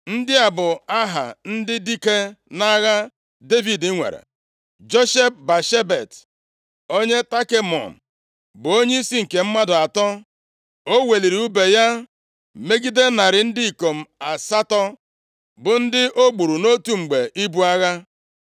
Ndị a bụ aha ndị dike nʼagha Devid nwere: Josheb-Bashebet, onye Takemon, bụ onyeisi nke mmadụ atọ. O weliri ùbe ya megide narị ndị ikom asatọ, bụ ndị o gburu nʼotu mgbe ibu agha.